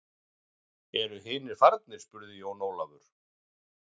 Eru hinir farnir spurði Jón Ólafur.